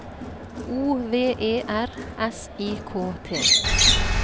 O V E R S I K T